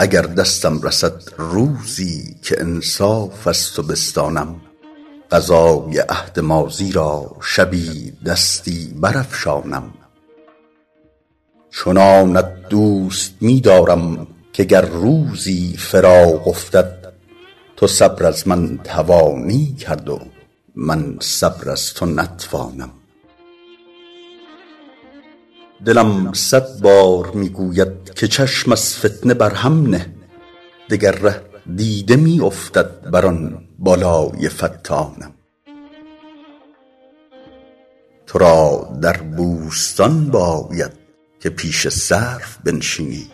اگر دستم رسد روزی که انصاف از تو بستانم قضای عهد ماضی را شبی دستی برافشانم چنانت دوست می دارم که گر روزی فراق افتد تو صبر از من توانی کرد و من صبر از تو نتوانم دلم صد بار می گوید که چشم از فتنه بر هم نه دگر ره دیده می افتد بر آن بالای فتانم تو را در بوستان باید که پیش سرو بنشینی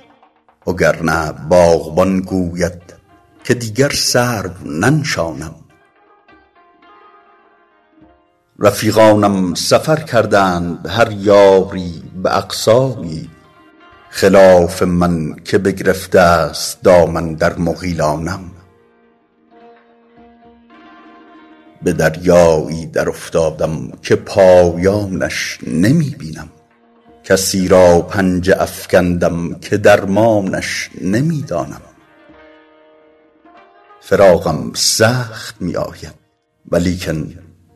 وگرنه باغبان گوید که دیگر سرو ننشانم رفیقانم سفر کردند هر یاری به اقصایی خلاف من که بگرفته است دامن در مغیلانم به دریایی درافتادم که پایانش نمی بینم کسی را پنجه افکندم که درمانش نمی دانم فراقم سخت می آید ولیکن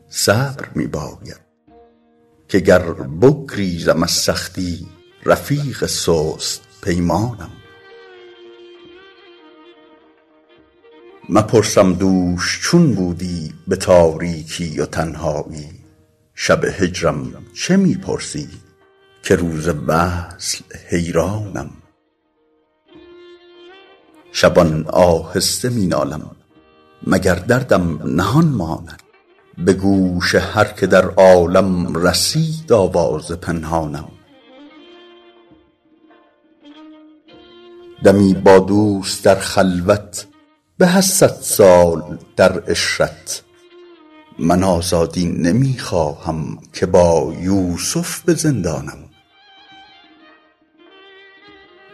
صبر می باید که گر بگریزم از سختی رفیق سست پیمانم مپرسم دوش چون بودی به تاریکی و تنهایی شب هجرم چه می پرسی که روز وصل حیرانم شبان آهسته می نالم مگر دردم نهان ماند به گوش هر که در عالم رسید آواز پنهانم دمی با دوست در خلوت به از صد سال در عشرت من آزادی نمی خواهم که با یوسف به زندانم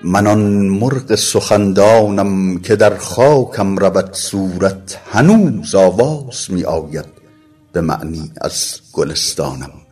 من آن مرغ سخندانم که در خاکم رود صورت هنوز آواز می آید به معنی از گلستانم